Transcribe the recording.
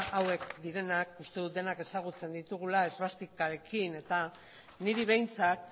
hauek direnak uste dut denek ezagutzen ditugula esbastikarekin eta niri behintzat